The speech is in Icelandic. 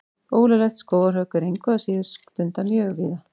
Ólöglegt skógarhögg er engu að síður stundað mjög víða.